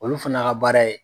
Olu fana ka baara ye.